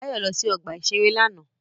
Báyọ̀ lọ sí ọgbà-ìṣeré lánàá